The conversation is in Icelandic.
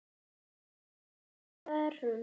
Fer hamförum um gólfið.